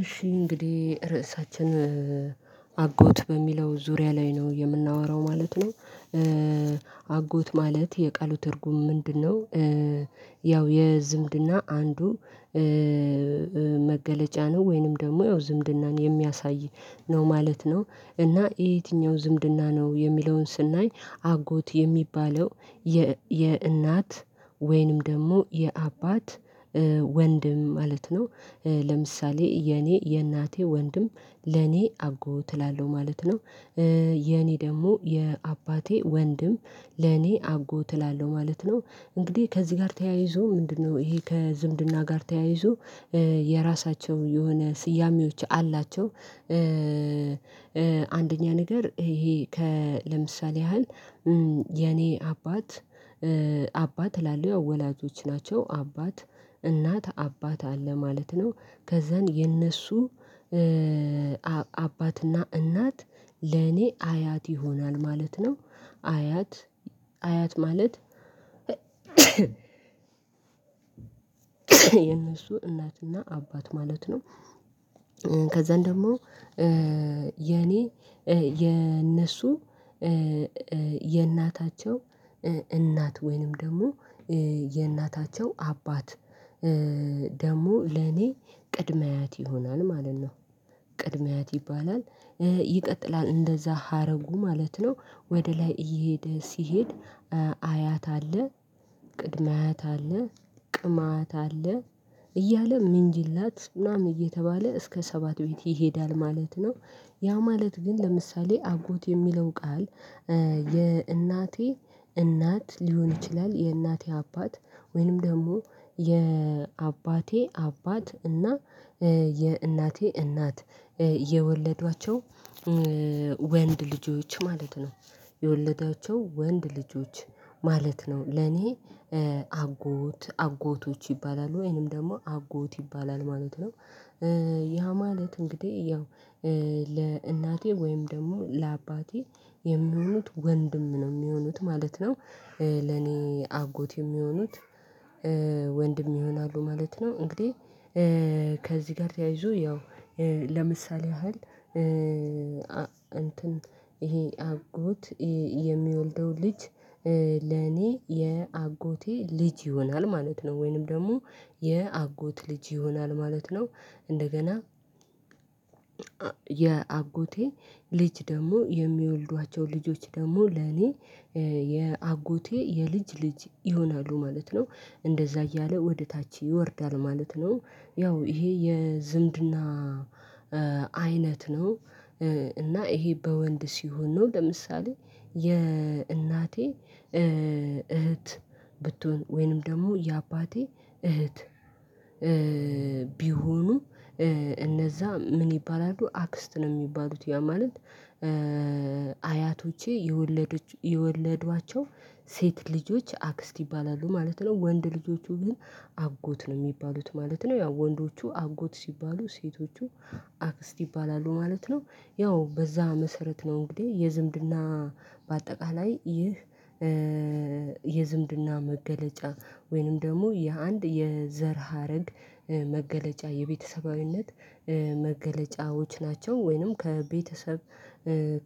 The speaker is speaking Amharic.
እሺ እንግዲህ ርዕሳችን አጎት በሚለው ዙሪያ ላይ ነው የምናወራው ማለት ነው። አጎት ማለት የቃሉ ትርጉም ምንድነው? ያው የዝምድና አንዱ መገለጫ ነው ወይንም ደግሞ ያው ዝምድናን የሚያሳይ ነው ማለት ነው። እና የትኛው ዝምድና ነው የሚለውን ስናይ አጎት የሚባለው የእናት ወይንም ደግሞ የአባት ወንድም ማለት ነው። ለምሳሌ የኔ የእናቴ ወንድም ለኔ አጎት እላለሁ ማለት ነው። የኔ ደግሞ የአባቴ ወንድም ለኔ አጎት እላለሁ ማለት ነው። እንግዲህ ከዚህ ጋር ተያይዞ ምንድነው ይሄ ከዝምድና ጋር ተያይዞ የራሳቸው የሆነ ስያሜዎች አላቸው። አንደኛ ነገር ይሄ ከ ለምሳሌ ያህል የኔ አባት አባት እላለው የው ወላጆች ናቸው አባት እናት አባት አለ ማለት ነው። ከዛን የእነሱ አባትና እናት ለኔ አያት ይሆናል ማለት ነው። አያት አያት ማለት የእነሱ እናትና አባት ማለት ነው። ከዛን ደግሞ የኔ የእነሱ የእናታቸው እናት ወይንም ደግሞ የእናታቸው አባት ደግሞ ለኔ ቅድመ አያት ይሆናል ማለት ነው። ቅድመ አያት ይባላል ይቀጥላል እንደዛ ሀረጉ ማለት ነው። ወደ ላይ እየሄደ ሲሄድ አያት አለ ቅድመ አያት አለ ቅማያት አለ እያለ ምንጅላት ምናምን እየተባለ እስከ ሰባት ቤት ይሄዳል ማለት ነው። ያ ማለት ግን ለምሳሌ አጎት የሚለው ቃል የእናቴ እናት ሊሆን ይችላል። የእናቴ አባት ወይንም ደግሞ የአባቴ አባት እና የእናቴ እናት የወለዷቸው ወንድ ልጆች ማለት ነው። የወለዳቸው ወንድ ልጆች ማለት ነው ለኔ አጎት አጎቶች ይባላሉ ወይንም ደግሞ አጎት ይባላል ማለት ነው። ያ ማለት እንግዲህ ያው ለእናቴ ወይም ደግሞ ለአባቴ የሚሆኑት ወንድም ነው የሚሆኑት ማለት ነው። ለኔ አጎት የሚሆኑት ወንድም ይሆናሉ ማለት ነው እንግዲህ። ከዚህ ጋር ተያይዞ ያው ለምሳሌ ያህል እንትን ይሄ አጎት የሚወልደው ልጅ ለኔ የአጎቴ ልጅ ይሆናል ማለት ነው። ወይንም ደግሞ የአጎት ልጅ ይሆናል ማለት ነው። እንደገና የአጎቴ ልጅ ደግሞ የሚወልዷቸው ልጆች ደግሞ ለኔ የአጎቴ የልጅ ልጅ ይሆናሉ ማለት ነው። እንደዛ እያለ ወደ ታች ይወርዳል ማለት ነው። ያው ይሄ የዝምድና አይነት ነው። እና ይሄ በወንድ ሲሆን ነው ለምሳሌ የእናቴ እህት ብትሆን ወይንም ደግሞ የአባቴ እህት ቢሆኑ እነዛ ምን ይባላሉ አክስት ነው የሚባሉት ያ ማለት። አያቶቼ የወለዱ የወለዷቸው ሴት ልጆች አክስት ይባላሉ ማለት ነው። ወንድ ልጆቹ ግን አጎት ነው የሚባሉት ማለት ነው። ያው ወንዶቹ አጎት ሲባሉ ሴቶቹ አክስት ይባላሉ ማለት ነው። ያው በዛ መሰረት ነው እንግዲህ የዝምድና በአጠቃላይ ይህ የዝምድና መገለጫ ወይንም ደግሞ የአንድ የዘር ሀረግ መገለጫ የቤተሰባዊነት መገለጫዎች ናቸው ወይንም ከቤተሰብ